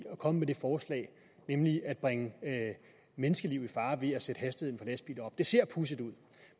at komme med det forslag nemlig at bringe menneskeliv i fare ved at sætte hastigheden op det ser pudsigt ud